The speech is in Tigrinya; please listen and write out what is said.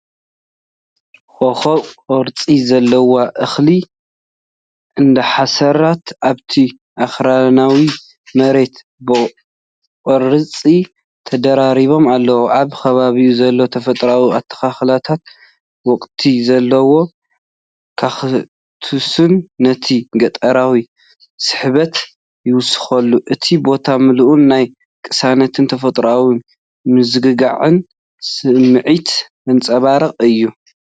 ኮኾብ ቅርጺ ዘለዎም እኽሊ/እንዳሓሰራት ኣብቲ ኣኽራናዊ መሬት ብቕርጺ ተደራሪቦም ኣለዉ። ኣብ ከባቢኡ ዘሎ ተፈጥሮኣዊ ኣትክልትን ውቃጦ ዘለዎ ካክቱስን ነቲ ገጠራዊ ስሕበት ይውስኸሉ። እቲ ቦታ ምሉእ ናይ ቅሳነትን ተፈጥሮኣዊ ምዝንጋዕን ስምዒት ዘንጸባርቕ እዩ።